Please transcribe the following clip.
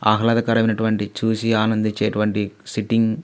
ఆహ్లాదకరమైనటువంటి చూసి ఆనందించేటువంటి సిట్టింగ్ --